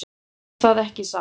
Er það ekki satt?